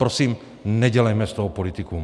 Prosím, nedělejme z toho politikum.